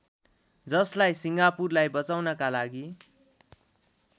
जसलाई सिङ्गापुरलाई बचाउनका लागि